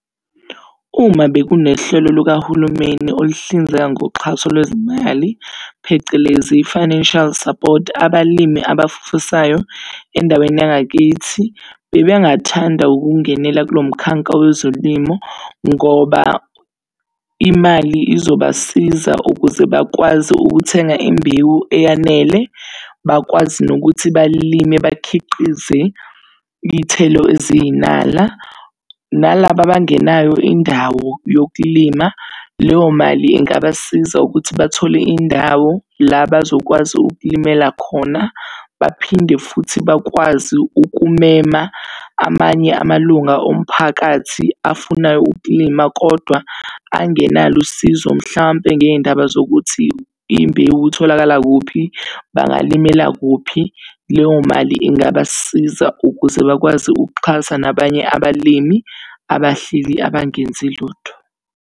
Uma bekunehlelo lukahulumeni oluhlinzeka ngoxhaso lwezimali, phecelezi i-financial support, abalimi abafisayo endaweni yangakithi bebengathanda ukungenela kulo mkhanka wezolimo. Ngoba imali izobasiza ukuze bakwazi ukuthenga imbewu eyanele, bakwazi nokuthi balime bakhiqize iy'thelo eziyinala. Nalaba abangenayo indawo yokulima leyo mali ingabasiza ukuthi bathole indawo la bazokwazi ukulimela khona. Baphinde futhi bakwazi ukumema amanye amalunga omphakathi afuna ukulima, kodwa angenalo usizo mhlampe ngey'ndaba zokuthi imbewu itholakala kuphi, bangalimela kuphi? Leyo mali ingabasiza ukuze bakwazi ukuxhasa nabanye abalimi abahleli, abangenzi lutho.